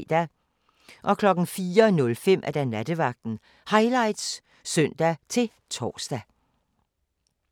04:05: Nattevagten Highlights (søn-tor)